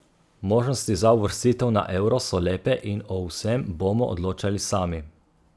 Možnosti za uvrstitev na euro so lepe in o vsem bomo odločali sami.